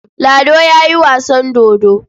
Lado ya yi wasan dodo.